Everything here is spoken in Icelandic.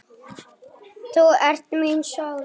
Þú ert mín sól.